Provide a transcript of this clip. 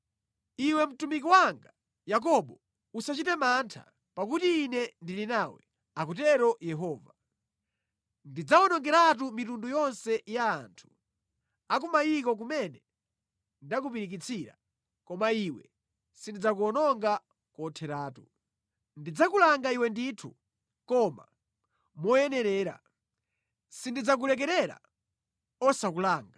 Iwe mtumiki wanga Yakobo, usachite mantha, pakuti Ine ndili nawe,” akutero Yehova. “Ndidzawonongeratu mitundu yonse ya anthu a ku mayiko kumene ndakupirikitsira, Koma iwe sindidzakuwononga kotheratu. Ndidzakulanga iwe ndithu koma moyenerera; sindidzakulekerera osakulanga.”